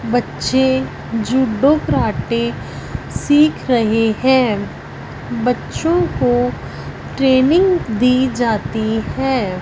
बच्चे judo karate सीख रहे हैं बच्चों को ट्रेनिंग दी जाती है।